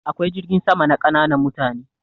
Akwai jirgin sama na ƙananan mutane.